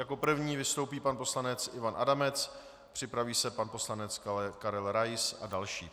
Jako první vystoupí pan poslanec Ivan Adamec, připraví se pan poslanec Karel Rais a další.